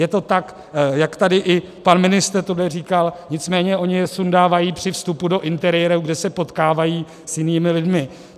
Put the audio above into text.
Je to tak, jak tady i pan ministr tuhle říkal, nicméně oni je sundávají při vstupu do interiéru, kde se potkávají s jinými lidmi.